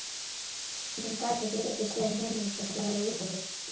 Hann gat ekki betur séð en heimilisfólkið væri úti við.